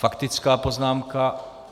Faktická poznámka.